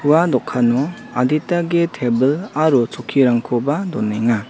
ua dokano adita ge tebil aro chokkirangkoba donenga.